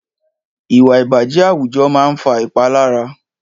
Ìwà ìbàjẹ́ àwùjọ máa ń fa ìpalára